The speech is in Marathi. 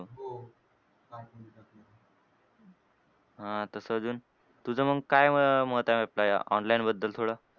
हां तसं अजून तुझं मग काय मत आहे आपल्या या online बद्दल थोडं?